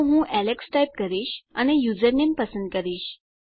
તો હું Alex type કરીશ અને યુઝરનેમ પસંદ કરીશ